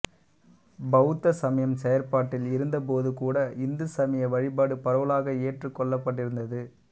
பௌத்த சமயம் செயற்பாட்டில் இருந்தபோதுகூட இந்து சமய வழிபாடு பரவலாக ஏற்றுக் கொள்ளப்பட்டிருந்தது